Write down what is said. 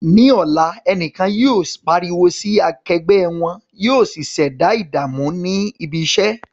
Ní ọ̀la, ẹnìkan yóò pariwo sí akẹgbẹ́ wọn, yóò sì ṣẹ̀dá ìdààmú ní ibi iṣẹ́.